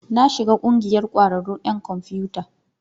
Na shiga ƙungiyar ƙwararrun 'yan kwamfiyuta.